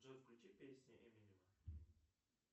джой включи песни эминема